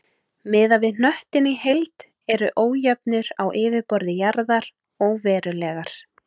Miðað við hnöttinn í heild eru ójöfnur á yfirborði jarðar óverulegar.